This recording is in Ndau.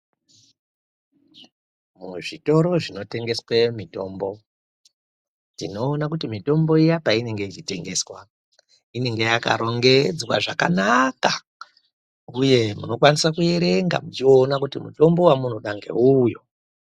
Muzvitoro zvinotengeswe mitombo tinoona kuti mitombo Iya painenge ichitengeswa inenge yakarongedzwa zvakanaka. Uye munokwanisa kuerenga muchiona kuti mutombo wamunoda ngeuyu.